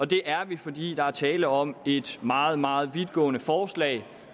det er vi fordi der er tale om et meget meget vidtgående forslag